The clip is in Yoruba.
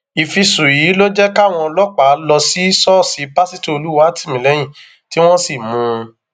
ìfisùn yìí ló jẹ káwọn ọlọpàá lọ sí ṣọọṣì pásítọ olùwátìmílẹyìn tí wọn sì mú un